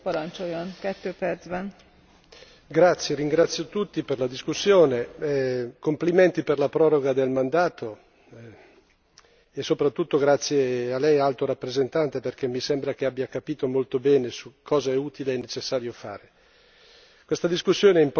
Signora Presidente, onorevoli colleghi, ringrazio tutti per la discussione. Complimenti per la proroga del mandato e soprattutto grazie a lei, Alto rappresentante, perché mi sembra che abbia capito molto bene cosa è utile e necessario fare.